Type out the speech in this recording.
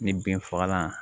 Ni binfagalan